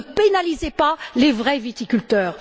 Ne pénalisez pas les vrais viticulteurs.